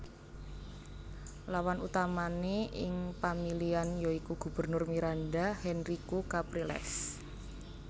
Lawan utamané ing pamilihan ya iku Gubernur Miranda Henrique Capriles